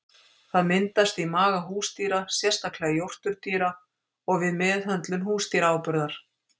Það myndast í maga húsdýra, sérstaklega jórturdýra, og við meðhöndlun húsdýraáburðar.